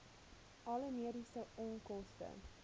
alle mediese onkoste